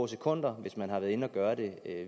sekunder hvis man har været inde at gøre det